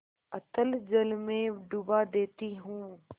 अतल जल में डुबा देती हूँ